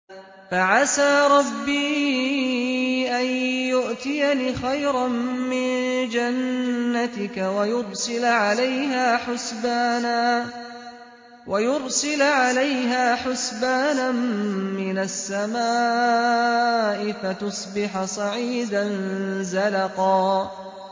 فَعَسَىٰ رَبِّي أَن يُؤْتِيَنِ خَيْرًا مِّن جَنَّتِكَ وَيُرْسِلَ عَلَيْهَا حُسْبَانًا مِّنَ السَّمَاءِ فَتُصْبِحَ صَعِيدًا زَلَقًا